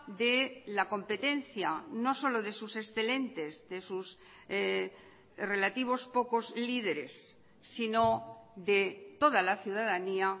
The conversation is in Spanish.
de la competencia no solo de sus excelentes de sus relativos pocos lideres sino de toda la ciudadanía